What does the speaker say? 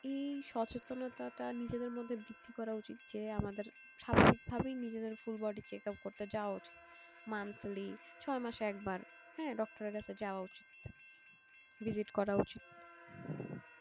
এই সচেতনাটা নিজেদের মধ্যে বৃদ্ধি করা উচিত যে আমাদের স্বাভাবিক ভাবাই নিজেদের full body checkup করতে যাওয়া উচিত monthly ছয় মাসে একবার doctor এর কাছে যাওয়া উচিত visit করা উচিত